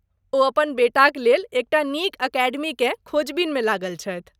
ओ अपन बेटाक लेल एकटा नीक अकेडमीकेँ खोजबीनमे लागल छथि।